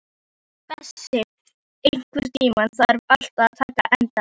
Bessi, einhvern tímann þarf allt að taka enda.